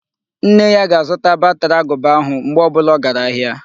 Nne ya ga-azụta batri agụba ahụ, mgbe ọ bụla ọ gara ahịa.